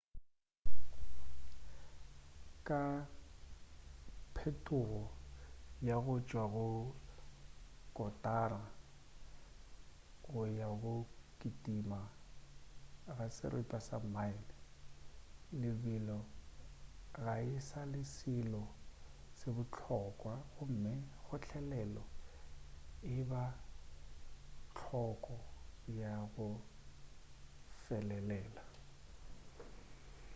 ka phetogo ya go tšwa go kotara go ya go go kitima ga seripa sa mile lebelo ga e sa le selo se bohlokwa gomme kgotlelelo e ba hloko ya go felelela